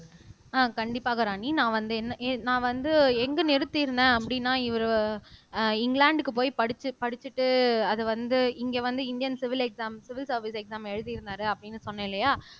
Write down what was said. அஹ் கண்டிப்பாக ராணி நான் வந்து என்ன நான் வந்து எங்க நிறுத்தி இருந்தேன் அப்படின்னா இவரு அஹ் இங்கிலாந்துக்கு போய் படிச்சு படிச்சுட்டு அது வந்து இங்க வந்து Indian civil exam civil service exam எழுதி இருந்தாரு அப்படின்னு சொன்னேன் இல்லையா